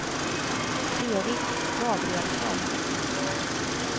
Erik Gabrielsson